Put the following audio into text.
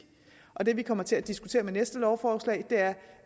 og det vi kommer til at diskutere med næste lovforslag er